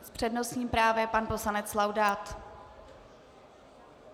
S přednostním právem pan poslanec Laudát.